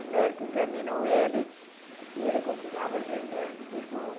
O médico examinou ele e ele continuava gemendo de dor.